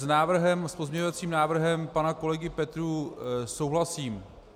S pozměňovacím návrhem pana kolegy Petrů souhlasím.